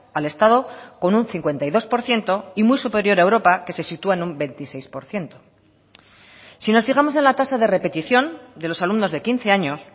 al estado con un cincuenta y dos por ciento y muy superior a europa que se sitúa en un veintiséis por ciento si nos fijamos en la tasa de repetición de los alumnos de quince años